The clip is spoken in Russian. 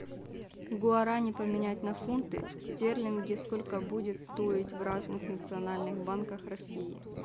гуарани поменять на фунты стерлинги сколько будет стоить в разных национальных банках россии